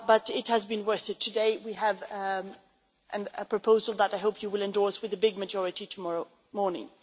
but it has been worth it. Today we have a proposal that I hope you will endorse with a big majority tomorrow morning.